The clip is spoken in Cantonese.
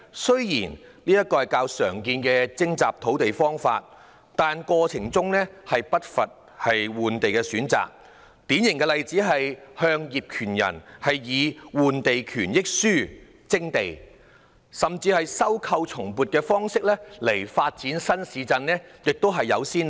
雖然這是較常用的徵集土地方法，但過程中不乏換地的選擇，典型例子是向業權人以"換地權益書"徵地，甚至亦有先例是以收購後重新撥地的方式來發展新市鎮。